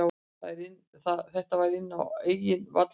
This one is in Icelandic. Þetta var inn á eigin vallarhelmingi.